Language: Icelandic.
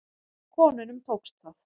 Konunum tókst það.